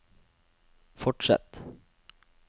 fortsett